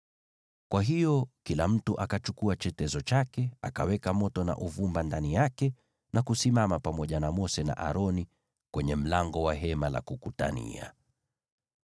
Kwa hiyo kila mtu akachukua chetezo chake, akaweka moto na uvumba ndani yake, na kusimama pamoja na Mose na Aroni kwenye mlango wa Hema la Kukutania.